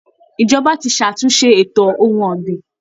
Ìjọba ti ṣàtúnṣe ètò ohun ọ̀gbìn